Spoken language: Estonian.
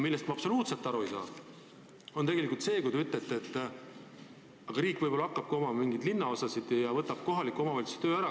Millest ma absoluutselt aru ei saa, on aga see, kui te ütlete, et riik võib-olla hakkabki omama linnaosasid ja võtab kohaliku omavalitsuse töö ära.